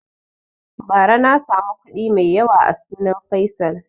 Ba ra na samu kuɗi mai yawa a sunan faisal